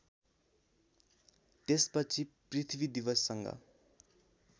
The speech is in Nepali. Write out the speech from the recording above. त्यसपछि पृथ्वी दिवससँग